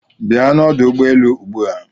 Bia n'ọdụ ụgbọelu ugbua.